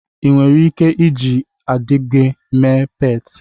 Ị nwere ike iji ịdịgịde mee pet?